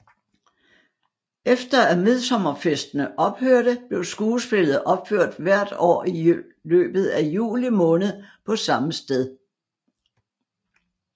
Efter at midtsommerfestene ophørte blev skuespillet opført hvert år i løbet juli måned på samme sted